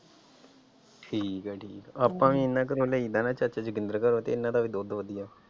ਠੀਕ ਹੈ ਜੀ ਆਪਾਂ ਵੀ ਉਹਨਾਂ ਘਰੋਂ ਲਈ ਦਾ ਨਾ ਚਾਚਾ ਜਤਿੰਦਰ ਘਰੋਂ ਤੇ ਉਹਨਾਂ ਦਾ ਵੀ ਦੁੱਧ ਵਧੀਆ।